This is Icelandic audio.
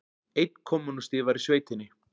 Einn kommúnisti var í sveitinni.